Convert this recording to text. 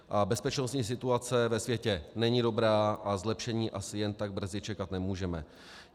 A bezpečnostní situace ve světě není dobrá a zlepšení asi jen tak brzy čekat nemůžeme.